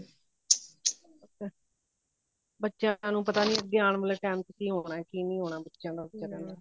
ਬੱਚਿਆ ਨੂੰ ਪਤਾ ਨਹੀਂ ਅੱਗੇ ਆਉਣ ਵਾਲੇ time ਚ ਕਿ ਹੋਣਾ ਕਿ ਨਹੀਂ ਹੋਣਾ ਬੱਚਿਆ ਦਾ